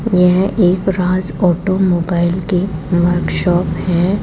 यह एक राज ऑटोमोबाइल की वर्क शॉप है।